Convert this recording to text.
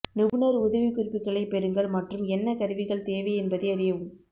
நிபுணர் உதவிக்குறிப்புகளைப் பெறுங்கள் மற்றும் என்ன கருவிகள் தேவை என்பதை அறியவும்